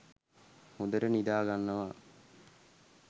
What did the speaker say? හොදට නිදා ගන්නවා